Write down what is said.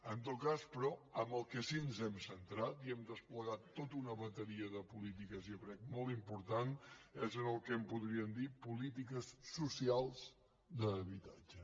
en tot cas però en el que sí que ens hem centrat i hem desplegat tota una bateria de polítiques jo crec molt important és en el que en podríem dir polítiques socials d’habitatge